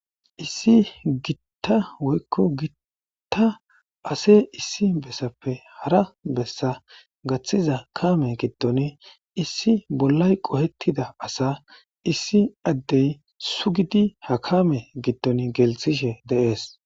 Issi gitta woykko gitta ase issi bessappe hara bessa gaththiza kame giddon issi bollay qohettida asa issi addey sugidi ha kame giddon geltishe deees.